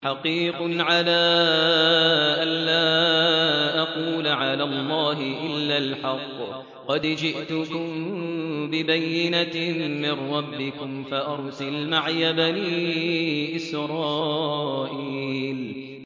حَقِيقٌ عَلَىٰ أَن لَّا أَقُولَ عَلَى اللَّهِ إِلَّا الْحَقَّ ۚ قَدْ جِئْتُكُم بِبَيِّنَةٍ مِّن رَّبِّكُمْ فَأَرْسِلْ مَعِيَ بَنِي إِسْرَائِيلَ